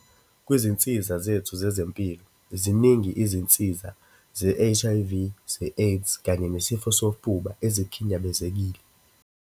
.kwizinsiza zethu zezempilo, ziningi izinsiza ze-HIV, ze-AIDS kanye nesifo sofuba ezikhinyabezekile.